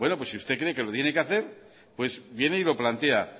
si usted cree que lo tiene que hacer viene y lo plantea